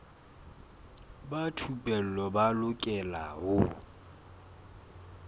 ba thupelo ba lokela ho